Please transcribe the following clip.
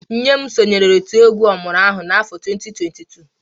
Nne m sonyeere otu egwu ọmụrụ-agha n'afọ 2002